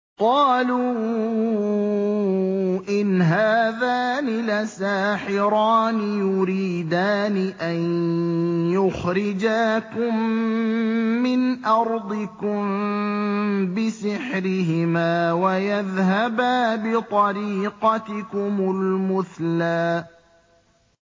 قَالُوا إِنْ هَٰذَانِ لَسَاحِرَانِ يُرِيدَانِ أَن يُخْرِجَاكُم مِّنْ أَرْضِكُم بِسِحْرِهِمَا وَيَذْهَبَا بِطَرِيقَتِكُمُ الْمُثْلَىٰ